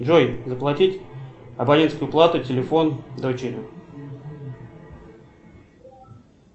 джой заплатить абонентскую плату телефон дочери